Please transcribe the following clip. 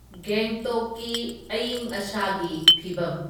ꯒꯦꯡꯇꯣꯛꯀꯤ ꯑꯏꯪ ꯑꯁꯥꯒꯤ ꯐꯤꯚꯝ